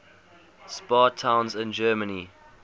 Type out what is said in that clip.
spa towns in germany